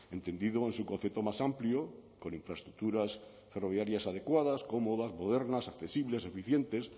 entendido en su concepto más amplio con infraestructuras ferroviarias adecuadas cómodas modernas accesibles eficientes